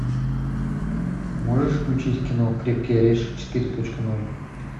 можешь включить кино крепкий орешек четыре точка ноль